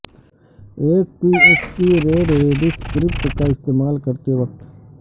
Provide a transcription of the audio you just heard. ایک P H P read read script کا استعمال کرتے وقت